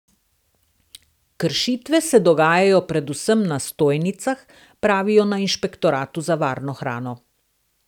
Kršitve se dogajajo predvsem na stojnicah, pravijo na Inšpektoratu za varno hrano.